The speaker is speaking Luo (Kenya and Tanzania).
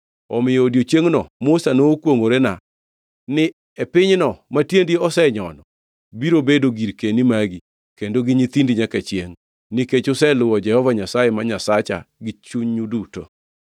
Omiyo odiechiengno Musa nokwongʼorena ni, ‘E pinyno matiendi osenyono biro bedo girkeni magi kendo gi nyithindi nyaka chiengʼ, nikech useluwo Jehova Nyasaye ma Nyasacha gi chunyu duto.’